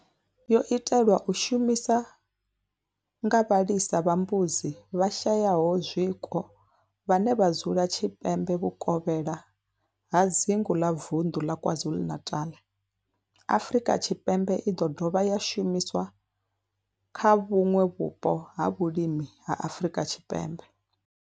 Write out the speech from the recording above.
Yo itelwa u shumiswa nga vhalisa vha mbudzi vhashayaho zwiko vhane vha dzula tshipembe vhukovhela ha dzingu ḽa vunḓu la KwaZulu-Natal, Afrika Tshipembe i ḓo dovha ya shumiswa kha vhuṋwe vhupo ha vhulimi ha Afrika Tshipembe.